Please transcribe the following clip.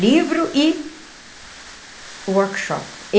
Livro e workshop.